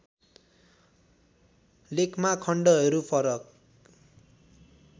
लेखमा खण्डहरू फरक